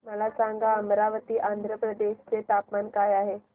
मला सांगा अमरावती आंध्र प्रदेश चे तापमान काय आहे